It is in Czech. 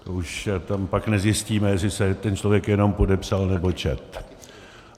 To už tam pak nezjistíme, jestli se ten člověk jenom podepsal, nebo četl.